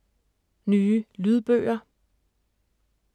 Nye lydbøger